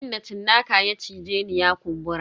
Inda cinnaka ya cije ni ya kumbura.